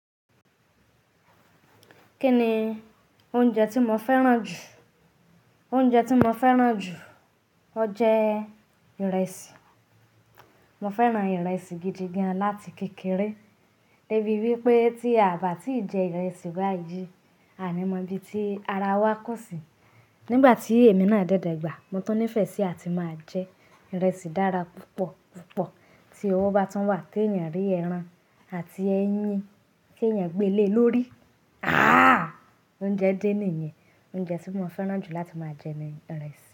Kí ni oúnjẹ tí mo fẹ́ràn jù? Oúnjẹ tí mo fẹ́ràn jù, o jẹ ìrẹsì. Mo fẹ́ràn ìrẹsì gidi gan láti kékeré. Débi wípé tí àbà tí jẹ ìrẹsì bá yìí, àní mo bí tí ara wa kún si. Nigbà tí èmi náà dé dagba, mo tún nífẹsí àti máa jẹ ìrẹsì dára púpọ̀ púpọ̀ tí owó bá tún wà tí èèyàn rí ẹran àti ẹyin kí ẹ̀yàn gbé le lórí. Ààh! Oúnjẹ de nìyẹn. Oúnjẹ tí mo fẹ́ràn jù láti máa jẹ ni ìrẹsì.